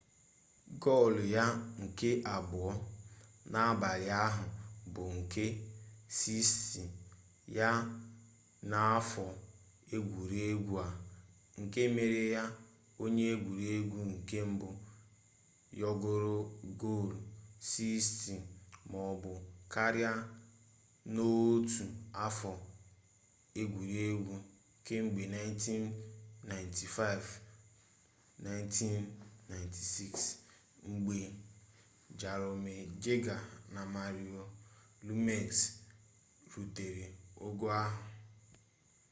gol ya nke abụọ n'abalị ahụ bụ nke 60 ya n'afọ egwuregwu a nke mere ya onye egwuregwu nke mbụ yọgoro gol 60 maọbụ karịa n'otu afọ egwuregwu kemgbe 1995-96 mgbe jaromir jagr na mario lemieux rutere ogo ahụ